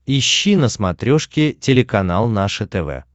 ищи на смотрешке телеканал наше тв